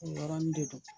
O yɔrɔnin de do